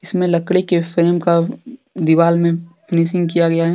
इसमें लड़की के फ्रेम का दीवाल में फिनीशिंग किया गया है।